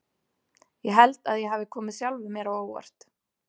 Ég held að ég hafi komið sjálfum mér á óvart.